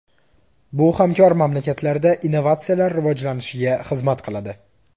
Bu hamkor mamlakatlarda innovatsiyalar rivojlanishiga xizmat qiladi.